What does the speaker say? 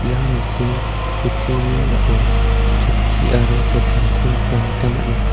ia nokni kutturi ning·ao chokki aro tebilrangko nikna gita man·a.